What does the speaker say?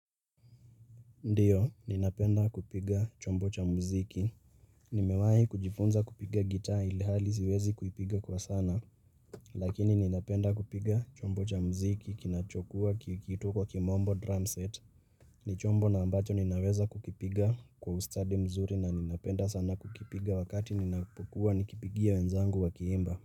Ndiyo, ninapenda kupiga chombo cha muziki. Nimewahi kujifunza kupiga gita ilihali siwezi kuipiga kwa sana. Lakini ninapenda kupiga chombo cha muziki kinachokua kikiitwa kwa kimombo drum set. Nichombo na ambacho ninaweza kukipiga kwa ustadi mzuri na ninapenda sana kukipiga wakati ninapokua nikipigia wenzangu wakiimba.